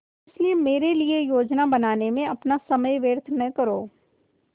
इसलिए मेरे लिए योजनाएँ बनाने में अपना समय व्यर्थ न करो